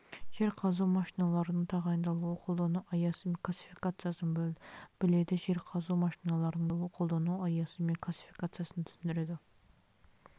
жер қазу машиналарының тағайындалуы қолдану аясы мен классификациясын біледі жер қазу машиналарының тағайындалуы қолдану аясы мен классификациясын түсіндіреді